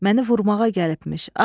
Məni vurmağa gəlibmiş.